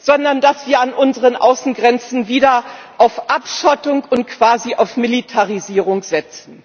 sondern dass wir an unseren Außengrenzen wieder auf Abschottung und quasi auf Militarisierung setzen.